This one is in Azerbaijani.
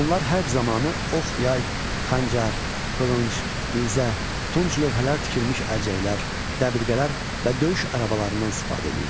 Onlar hərb zamanı ox, yay, xəncər, qılınc, nizə, tunç lövhələr tikilmiş əlcəklər, dəbilqələr və döyüş arabalarından istifadə eləyirdilər.